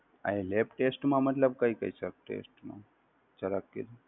અહી lab test માં મતલબ કઈ કઈ સબ test માં જરા કહજો ને